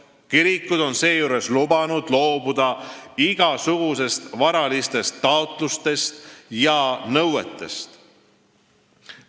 Kirikud on seejuures lubanud loobuda igasugustest varalistest taotlustest ja nõuetest.